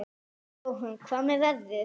Jóhann: Hvað með veðrið?